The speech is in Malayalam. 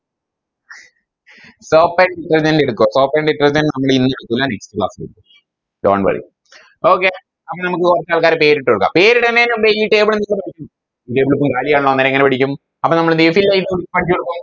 Soap and detergent എടുക്കുവോ Soap and detergent നമ്മള് ഇന്ന് എടുക്കൂല Next class ൽ എടുക്കും Dont worry okay അങ്ങനെ നമുക്ക് കൊറച്ചാൾക്കാരെ പേരിട്ടുകൊടുക്കാം പേരിടണെന് മുമ്പേ ഈ Table എങ്ങനെ പഠിക്കും അപ്പൊ നമ്മളെന്തേയും